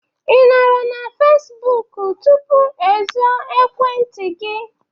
I nọrọ na Fesbụk tupu e zo Ekwentị gị?